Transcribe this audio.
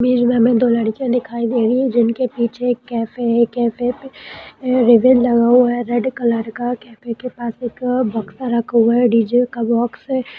ये जो अभी हमें दो लडकियाँ दिखाई दे रहीं हैं जिनके पीछे एक कैफ़े है कैफ़े पे रिबन लगा हुआ है रेड कलर का कैफ़े के पास एक बक्सा रखा हुआ है डी.जे. का बॉक्स है।